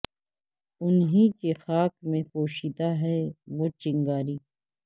ان ہی کی خاک میں پوشیدہ ہے وہ چنگاری